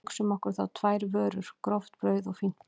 Hugsum okkur þá tvær vörur, gróft brauð og fínt brauð.